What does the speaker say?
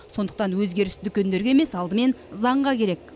сондықтан өзгеріс дүкендерге емес алдымен заңға керек